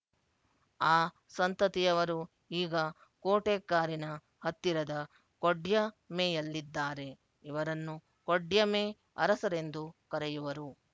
ಆ ಸಂತತಿಯವರು ಈಗ ಕೋಟೆಕ್ಕಾರಿನ ಹತ್ತಿರದ ಕೊಡ್ಯಮೆಯಲ್ಲಿದ್ದಾರೆ ಇವರನ್ನು ಕೊಡ್ಯಮೆ ಅರಸರೆಂದು ಕರೆಯುವರು